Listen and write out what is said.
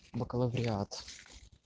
бакалавриат